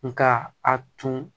Nka a tun